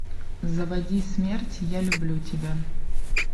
заводи смерть я люблю тебя